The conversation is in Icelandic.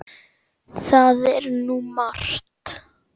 Það er nú margt.